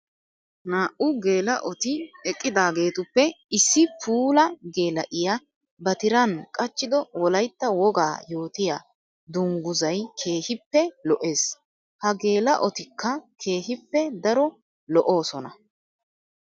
Naa'u geela'otti eqqidaagetuppe issi puula geela'iya ba tiran qachchiddo wolaytta woga yootiya dungguzay keehippe lo'ees. Ha geela'ottikka keehippe daro lo'osonna.